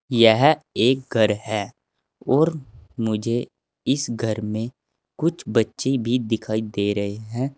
यह एक घर है और मुझे इस घर मे कुछ बच्चे भी दिखाई दे रहे हैं।